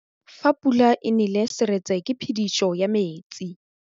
Fa pula e nelê serêtsê ke phêdisô ya metsi.